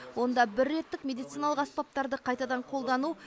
онда бір реттік медициналық аспаптарды қайтадан қолдану